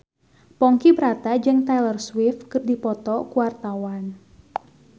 Ponky Brata jeung Taylor Swift keur dipoto ku wartawan